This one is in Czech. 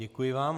Děkuji vám.